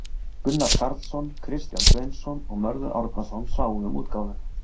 Gunnar Karlsson, Kristján Sveinsson og Mörður Árnason sáu um útgáfuna.